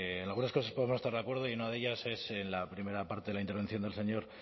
en algunas cosas podremos estar de acuerdo y una de ellas es en la primera parte de la intervención del señor